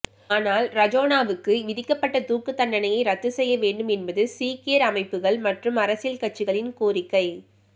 ஆனால் ரஜோனாவுக்கு விதிக்கப்பட்ட தூக்குத் தண்டனையை ரத்து செய்ய வேண்டும் என்பது சீக்கியர் அமைப்புகள் மற்றும் அரசியல் கட்சிகளின் கோரிக்கை